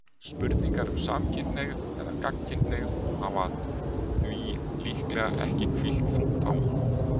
Spurningar um samkynhneigð eða gagnkynhneigð hafa því líklega ekki hvílt þungt á honum.